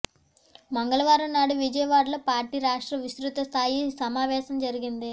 మంగళవారం నాడు విజయవాడలో పార్టీ రాష్ట్ర విస్తృత స్థాయి సమావేశం జరిగింది